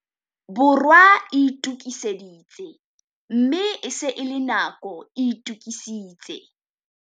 Borwa e itokiseditse, mme e se e le nako e itokisitse.